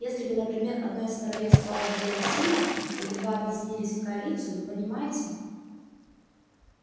если бы например одно из королевств стало более сильным или два объединились в коалицию вы понимаете